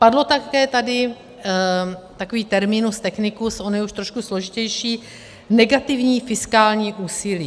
Padl také tady takový terminus technicus, on je už trošku složitější - negativní fiskální úsilí.